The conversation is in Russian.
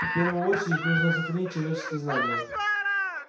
в первую очередь нужно сохранить человеческие знания